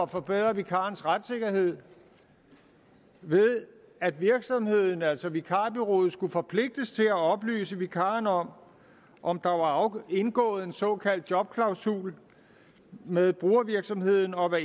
forbedre vikarens retssikkerhed ved at virksomheden altså vikarbureauet skulle forpligtes til at oplyse vikaren om om der var indgået en såkaldt jobklausul med brugervirksomheden og